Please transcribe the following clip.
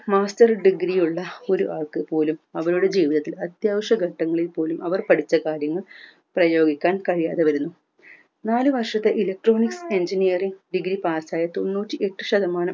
master degree യുള്ള ഒരു ആൾക്ക് പോലും അവരുടെ ജീവിതത്തിൽ അത്യാവശ്യഘട്ടങ്ങളിൽ പോലും അവർ പഠിച്ച കാര്യങ്ങൾ പ്രയോഗിക്കാൻ കഴിയാതെ വരുന്നു നാല് വർഷത്തെ electronics engineering degree pass ആയ തൊണ്ണൂറ്റിയെട്ട് ശതമാനം